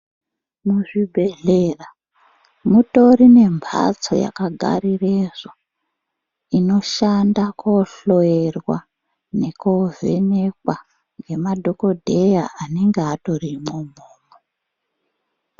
Muzvibhedhera mutori nembatso yakagarirezvo inoshanda kohloyerwa nekovhenekwa nemadhokodheya anenge atorimwo umwomwo.